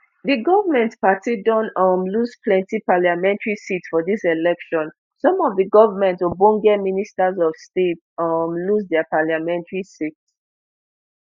di goment party don um lose plenty parliamentary seats for dis election some of di goment ogbonge ministers of state um lose dia parliamentary seats